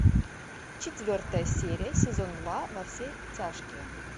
четвертая серия сезон два во все тяжкие